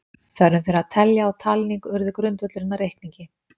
Þörfin fyrir að telja og talning urðu grundvöllurinn að reikningi.